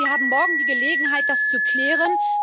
Aber Sie haben morgen die Gelegenheit, das zu klären.